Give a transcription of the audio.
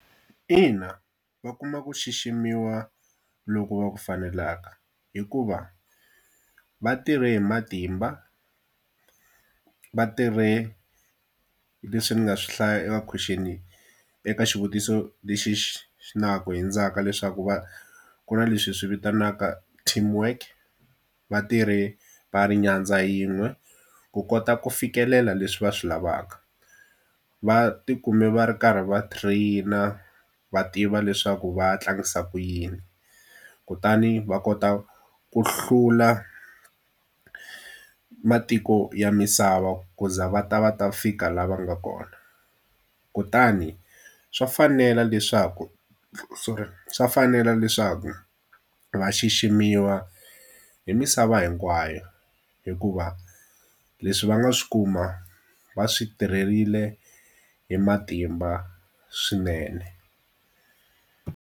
Ina va kuma ku xiximiwa loku va ku faneleka hikuva va tirhe hi matimba, va tirhe leswi ni nga swi hlaya eka question-i eka xivutiso lexi na ku hundzaka leswaku va ku na leswi hi swi vitanaka team work, va tirhe va ri nyandza yin'we ku kota ku fikelela leswi va swi lavaka. Va ti kume va ri karhi va train-a va tiva leswaku va tlangisa ku yini, kutani va kota ku hlula matiko ya misava ku za va ta va ta fika laha va nga kona. Kutani swa fanela leswaku sorry swa fanela leswaku va xiximiwa hi misava hinkwayo, hikuva leswi va nga swi kuma va swi tirherile hi matimba swinene.